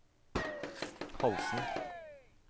Holsen